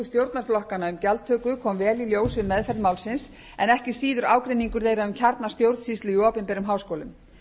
stjórnarflokkanna um gjaldtöku kom vel í ljós við meðferð málsins en ekki síður ágreiningur þeirra um kjarna stjórnsýslu í opinberum háskólum